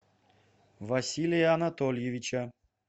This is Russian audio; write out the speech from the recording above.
василия анатольевича